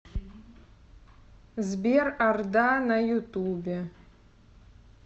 сбер орда на ютубе